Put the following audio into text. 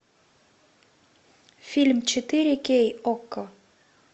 фильм четыре кей окко